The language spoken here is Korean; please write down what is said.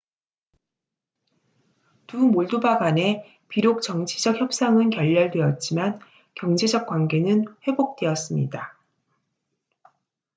두 몰도바 간에 비록 정치적 협상은 결렬되었지만 경제적 관계는 회복되었습니다